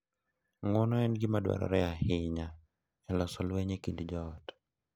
Ng’uono en gima dwarore ahinya e loso lweny e kind joot.